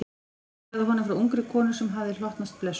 Hún sagði honum frá ungri konu sem hafði hlotnast blessun.